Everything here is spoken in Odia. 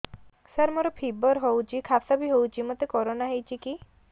ସାର ମୋର ଫିବର ହଉଚି ଖାସ ବି ହଉଚି ମୋତେ କରୋନା ହେଇଚି କି